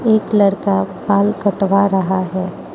एक लड़का बाल कटवा रहा है।